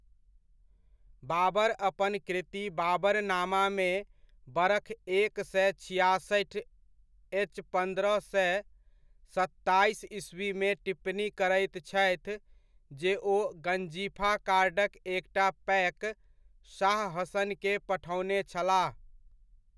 बाबर अपन कृति बाबरनामामे बरख एक सए छियासठि एच पन्द्रह सए सत्ताइस ईस्वीमे टिप्पणी करैत छथि जे ओ गंजीफा कार्डक एकटा पैक शाह हसन के पठओने छलाह।